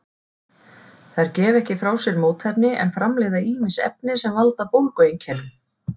Þær gefa ekki frá sér mótefni en framleiða ýmis efni sem valda bólgueinkennum.